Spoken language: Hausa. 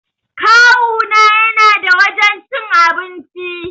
Kawuna yana da wajan cin abinci